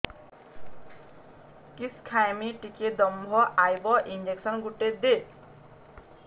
କିସ ଖାଇମି ଟିକେ ଦମ୍ଭ ଆଇବ ଇଞ୍ଜେକସନ ଗୁଟେ ଦେ